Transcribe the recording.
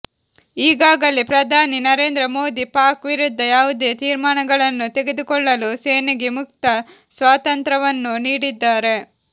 ಈಗಾಗಲೇ ಪ್ರಧಾನಿ ನರೇಂದ್ರ ಮೋದಿ ಪಾಕ್ ವಿರುದ್ಧ ಯಾವುದೇ ತೀರ್ಮಾನಗಳನ್ನು ತೆಗೆದುಕೊಳ್ಳಲು ಸೇನೆಗೆ ಮುಕ್ತ ಸ್ವಾತಂತ್ರವನ್ನು ನೀಡಿದ್ದಾರೆ